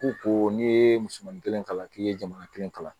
Ko ko n'i ye musomannin kelen kalan k'i ye jamana kelen kalan